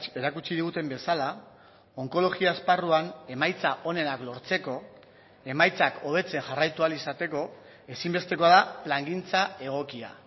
erakutsi diguten bezala onkologia esparruan emaitza onenak lortzeko emaitzak hobetzen jarraitu ahal izateko ezinbestekoa da plangintza egokia